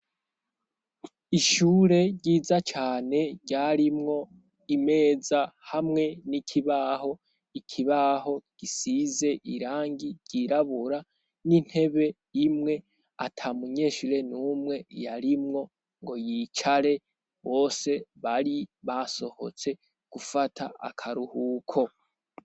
Ishure ryiza cane, ryarimwo imeza hamwe n'ikibaho, ikibaho gisize irangi ryirabura, n'intebe imwe atamunyeshire n'umwe yarimwo ngo yicare, bose bari basohotse gufata akaruhuko.